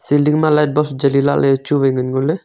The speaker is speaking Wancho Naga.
ceiling ma light bulb cheli lahley chu wai ngan ngoley.